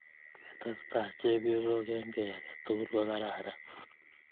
ketesta chepkoysok eng kei age tugul ko kararan